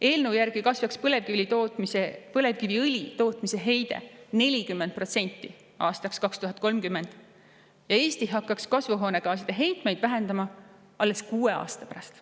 Eelnõu järgi kasvaks põlevkiviõli tootmise heide 40% aastaks 2030 ja Eesti hakkaks kasvuhoonegaaside heitmeid vähendama alles kuue aasta pärast.